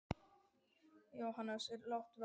Jóhannes: Er lágt verð?